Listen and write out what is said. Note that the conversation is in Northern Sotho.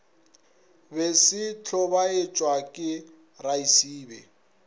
be se hlobaetšwa ke raesibe